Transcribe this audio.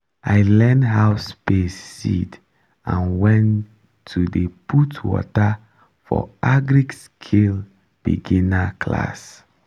i learn how space seed and when to dey put water for agri-skill beginner class